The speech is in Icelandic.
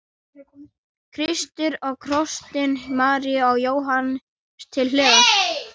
Kristur á krossinum, María og Jóhannes til hliðar.